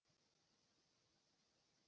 үкімет тарапынан қажетті шаралар атқарылатын болады